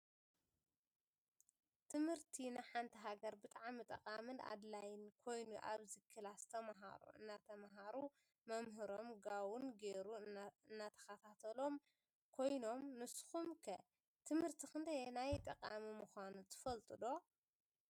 ትምህርቲ ንሓንቲ ሃገር ብጣዕሚ ጠቃምን አድላይን ኮይኑ አብዚ ክላስ ተመሃሮ እናተምሃሩ መምህሮም ጋውን ገይሩ እናተካታተሎም ኮይኖም ንሱኩም ከ ትምህርቲ ክንደየናይ ጠቃሚ ምካኑ ትፍልጡ ዶ?